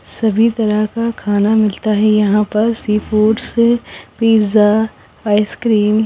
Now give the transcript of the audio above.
सभी तरह का खाना मिलता है यहां पर सी फूड्स पिज़्ज़ा आइसक्रीम --